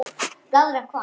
Blaðra hvað?